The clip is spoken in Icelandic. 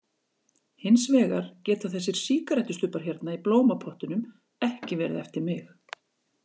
Hins vegar geta þessir sígarettustubbar hérna í blómapottunum ekki verið eftir mig.